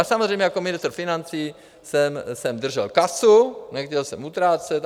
A samozřejmě jako ministr financí jsem držel kasu, nechtěl jsem utrácet.